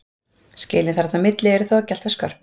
Skilin þarna á milli eru þó ekki alltaf skörp.